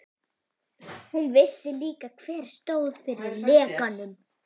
Hún vissi líka, hver stóð fyrir lekanum.